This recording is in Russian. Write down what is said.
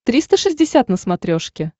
триста шестьдесят на смотрешке